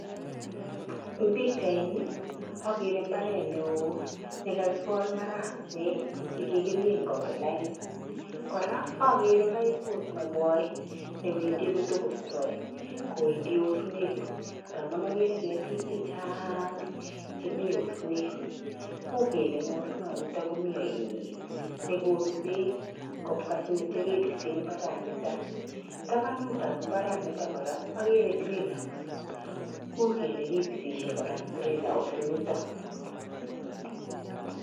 Ing' pikchaini akere mbaret neo nekakikol marakwek chekikimin koba lain. Kora, akere paiput nekoi newendi kotokostoi koendi osnet ndamun akere ketik chechang chemi osnet. U kele eng' osnanito komi ainet nekonu beek atya kebise mbaranito. Tapanutap mbaranito kora akere greenhouse u kele kipisishe kora eng' greenhouse nito.